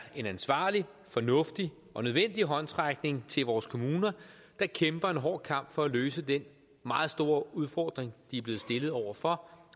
en ansvarlig fornuftig og nødvendig håndsrækning til vores kommuner der kæmper en hård kamp for at løse den meget store udfordring de er blevet stillet over for